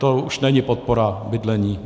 To už není podpora bydlení.